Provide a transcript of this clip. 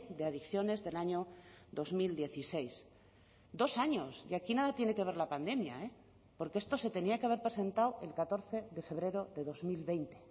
de adicciones del año dos mil dieciséis dos años y aquí nada tiene que ver la pandemia porque esto se tenía que haber presentado el catorce de febrero de dos mil veinte